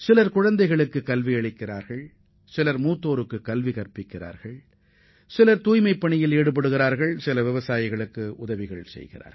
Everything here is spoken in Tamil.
சிலர் வயது முதிர்ந்தவர்களுக்கு பாடம் சொல்லிக் கொடுக்கின்றனர் சிலர் தூய்மைப் பணியில் தங்களை அர்ப்பணித்துக் கொண்டுள்ளனர் வேறு சிலர் விவசாயிகளுக்கு உதவுகின்றனர்